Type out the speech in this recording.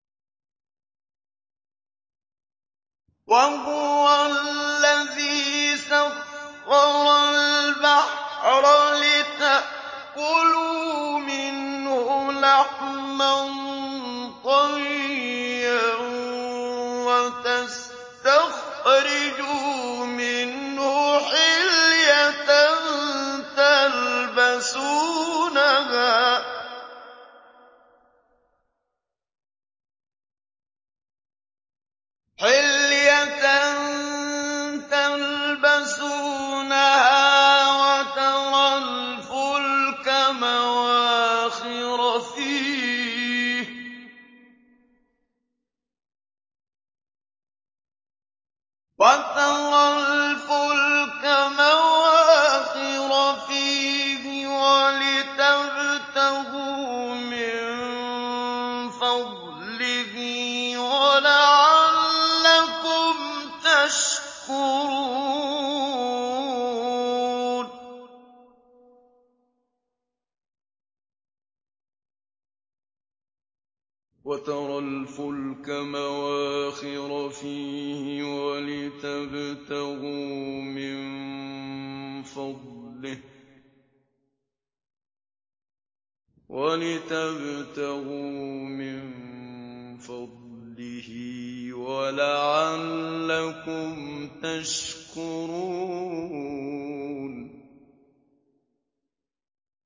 وَهُوَ الَّذِي سَخَّرَ الْبَحْرَ لِتَأْكُلُوا مِنْهُ لَحْمًا طَرِيًّا وَتَسْتَخْرِجُوا مِنْهُ حِلْيَةً تَلْبَسُونَهَا وَتَرَى الْفُلْكَ مَوَاخِرَ فِيهِ وَلِتَبْتَغُوا مِن فَضْلِهِ وَلَعَلَّكُمْ تَشْكُرُونَ